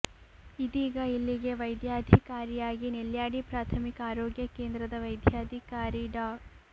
ಇದೀಗ ಇಲ್ಲಿಗೆ ವೈದ್ಯಾಧಿಕಾರಿಯಾಗಿ ನೆಲ್ಯಾಡಿ ಪ್ರಾಥಮಿಕ ಆರೋಗ್ಯ ಕೇಂದ್ರದ ವೈದ್ಯಾಧಿಕಾರಿ ಡಾ